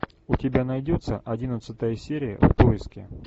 у тебя найдется одиннадцатая серия в поиске